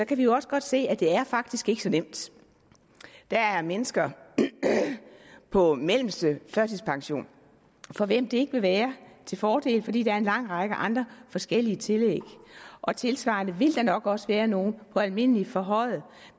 kan vi jo også godt se at det faktisk ikke er så nemt der er mennesker på mellemste førtidspension for hvem det ikke vil være til fordel fordi de får en lang række andre forskellige tillæg og tilsvarende vil der nok også være nogle på almindelig forhøjet